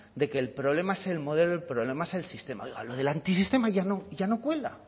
de que el problema es el modelo el problema es el sistema oiga lo del antisistema ya no ya no cuela